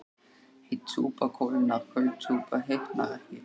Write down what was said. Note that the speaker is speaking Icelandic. Heit súpa kólnar köld súpa hitnar ekki